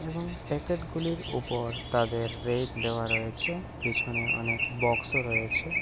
এবং প্যাকেট -গুলির উপর তাদের রেট দেওয়া রয়েছে পেছনে অনেক বক্স -ও রয়েছে।